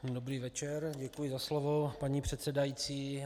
Dobrý večer, děkuji za slovo, paní předsedající.